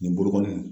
Nin bolokoli